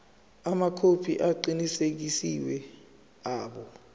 amakhophi aqinisekisiwe abo